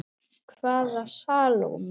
Hvaða Salóme?